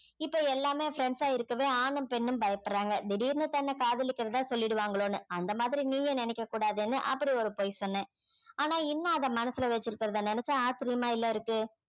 இப்ப எல்லாமே friends ஆ இருக்கவே ஆணும் பெண்ணும் பயப்படுறாங்க திடீர்னு தன்னை காதலிக்கிறதா சொல்லிடுவாங்களோன்னு அந்த மாதிரி நீயும் நினைக்க கூடாதுன்னு அப்படி ஒரு பொய் சொன்னேன் ஆனா இன்னும் அதை மனசுல வச்சிருக்கறதை நினைச்சா ஆச்சரியமா இல்ல இருக்கு